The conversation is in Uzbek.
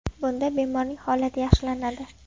Bunda bemorning holati yaxshilanadi.